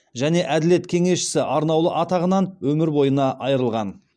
және әділет кеңесшісі арнаулы атағынан өмір бойына айырылған